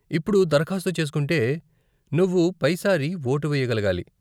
ఇప్పుడు దరఖాస్తు చేసుకుంటే నువ్వు పై సారి వోటు వేయగలగాలి.